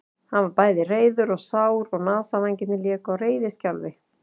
Hann var bæði reiður og sár og nasavængirnir léku á reiðiskjálfi.